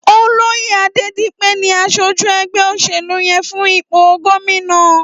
Ólóyé Adedipe ni àṣójú ẹgbẹ óṣélú yèn fún ipó góminà